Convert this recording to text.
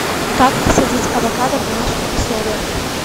как посадить авокадо в домашних условиях